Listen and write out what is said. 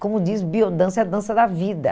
Como diz, biodança é a dança da vida.